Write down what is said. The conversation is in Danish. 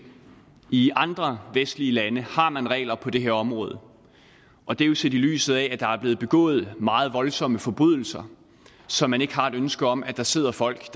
i andre vestlige lande har man regler på det her område og det er jo set i lyset af at der er blevet begået meget voldsomme forbrydelser som man ikke har et ønske om at der sidder folk